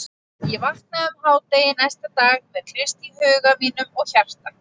Ég vaknaði um hádegi næsta dag með Krist í huga mínum og hjarta.